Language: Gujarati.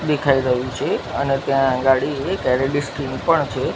દેખાઈ રહ્યુ છે અને ત્યાં અગાડી એક એલ_ઇ_ડી સ્ક્રીન પણ છે.